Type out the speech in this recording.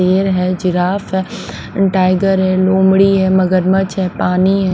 बेर है जिराफ है टाइगर है लोमड़ी है मगरमच है पानी ।